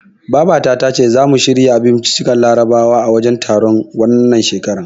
Baba ta tace zamu shirya abinciccikan larabawa a wajen taron, wannan shekarar.